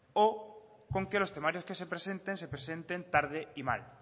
o con que los temarios que se presenten se presenten tarde y mal